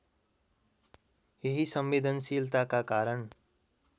यही संवेदनशीलताका कारण